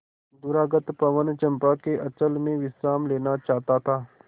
दूरागत पवन चंपा के अंचल में विश्राम लेना चाहता था